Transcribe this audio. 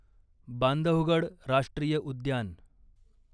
बांधवगड राष्ट्रीय उद्यान